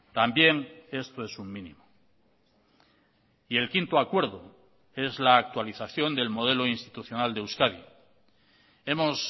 también esto es un mínimo y el quinto acuerdo es la actualización del modelo institucional de euskadi hemos